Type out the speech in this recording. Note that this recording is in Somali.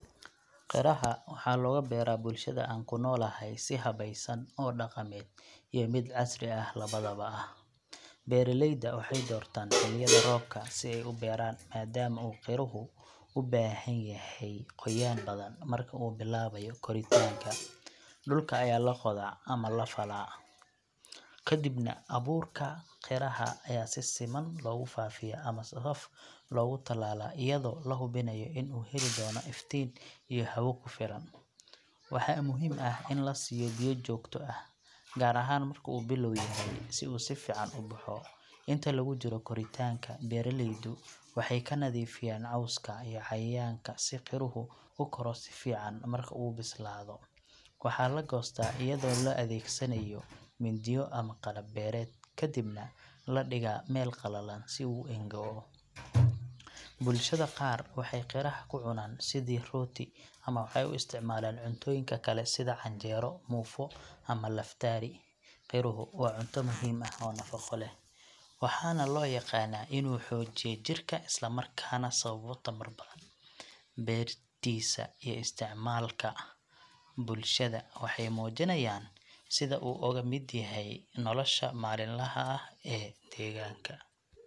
Qiraha waxaa looga beeraa bulshada aan ku noolahay si habaysan oo dhaqameed iyo mid casri ah labadaba ah. Beeraleyda waxay doortaan xilliyada roobka si ay u beeraan, maadaama uu qiruhu u baahan yahay qoyaan badan marka uu bilaabayo koritaanka. Dhulka ayaa la qodaa ama la falfalaa, kadibna abuurka qiraha ayaa si siman loogu faafiyaa ama safaf loogu tallaalaa iyadoo la hubinayo in uu heli doono iftiin iyo hawo ku filan. Waxaa muhiim ah in la siiyo biyo joogto ah, gaar ahaan marka uu bilow yahay, si uu si fiican u baxo. Inta lagu jiro koritaanka, beeraleydu waxay ka nadiifiyaan cawska iyo cayayaanka si qiruhu u koro si fiican. Marka uu bislaado, waxaa la goostaa iyadoo la adeegsanayo mindiyo ama qalab beereed, kadibna la dhigaa meel qalalan si uu u engo'o. Bulshada qaar waxay qiraha ku cunaan sidii rooti ama waxay u isticmaalaan cuntooyinka kale sida canjeero, muufo ama laftaari. Qiruhu waa cunto muhiim ah oo nafaqo leh, waxaana loo yaqaannaa inuu xoojiya jidhka isla markaana sababo tamar badan. Beertiisa iyo isticmaalka bulshada waxay muujinayaan sida uu uga mid yahay nolosha maalinlaha ah ee deegaanka.